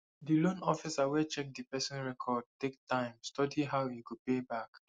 di loan officer wey check di person record take time study how e go pay back